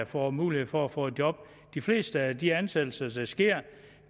får mulighed for at få et job de fleste af de ansættelser der sker